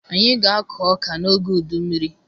Anyị ga-akọ ọka n'oge udu mmiri